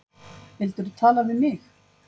Vildirðu tala við mig?